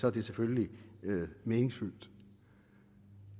er det selvfølgelig meningsfyldt